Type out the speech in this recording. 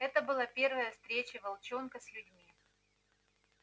это была первая встреча волчонка с людьми